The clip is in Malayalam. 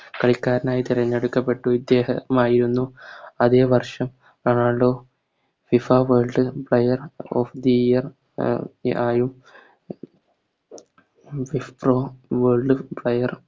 കളിക്കാരനായി തെരഞ്ഞടുക്കപ്പെട്ടു ഇദ്ദേഹമായിരുന്നു അതെ വർഷം Ronaldo FIFA World final of the year ആയി FIFA World fire